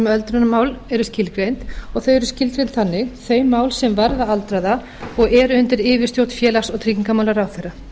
öldrunarmál eru skilgreind og þau eru skilgreind þannig þau mál sem varða aldraða og eru undir yfirstjórn félags og tryggingamálaráðherra